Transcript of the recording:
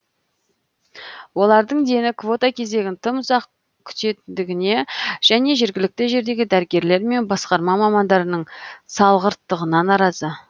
олардың дені квота кезегін тым ұзақ күтетіндігіне және жергілікті жердегі дәрігерлер мен басқарма мамандарының салғырттығына наразы